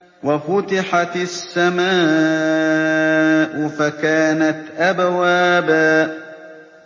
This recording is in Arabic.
وَفُتِحَتِ السَّمَاءُ فَكَانَتْ أَبْوَابًا